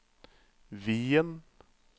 Wien